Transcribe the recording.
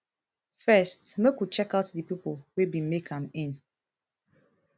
first make we checkout di pipo wey bin make am in